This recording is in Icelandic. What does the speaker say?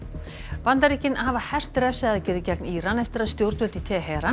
Bandaríkin hafa hert refsiaðgerðir gegn Íran eftir að stjórnvöld í Teheran